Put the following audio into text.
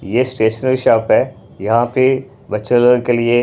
ये stationery shop है यहाँ पे बच्चा लोगों के लिए--